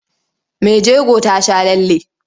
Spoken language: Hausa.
Mai jego ta sha lalle.